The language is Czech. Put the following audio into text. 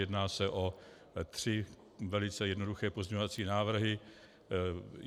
Jedná se o tři velice jednoduché pozměňovací návrhy.